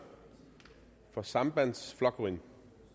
for sambandsflokkurin